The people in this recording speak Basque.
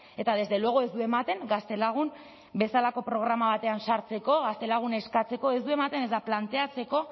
eta desde luego ez du ematen gaztelagun bezalako programa batean sartzeko gaztelagun eskatzeko ez du ematen ezta planteatzeko